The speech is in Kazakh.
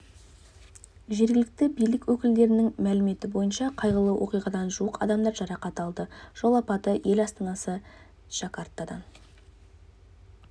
жергілікті билік өкілдерінің мәліметі бойынша қайғылы оқиғадан жуық адам жарақат алды жол апаты ел астанасы джакартадан